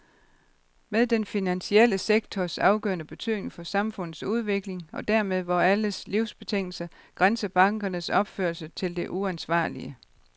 Med den finansielle sektors afgørende betydning for samfundets udvikling, og dermed vore alles livsbetingelser, grænser bankernes opførsel til det uansvarlige.